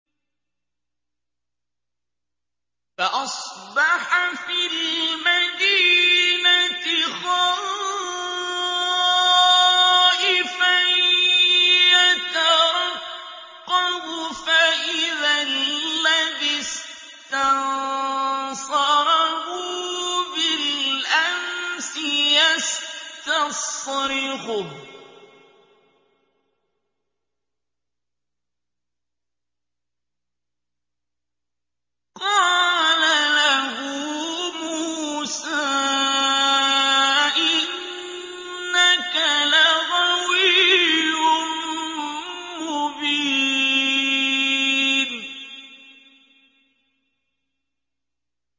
فَأَصْبَحَ فِي الْمَدِينَةِ خَائِفًا يَتَرَقَّبُ فَإِذَا الَّذِي اسْتَنصَرَهُ بِالْأَمْسِ يَسْتَصْرِخُهُ ۚ قَالَ لَهُ مُوسَىٰ إِنَّكَ لَغَوِيٌّ مُّبِينٌ